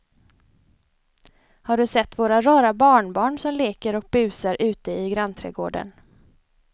Har du sett våra rara barnbarn som leker och busar ute i grannträdgården!